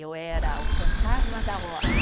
Eu era o fantasma da horta.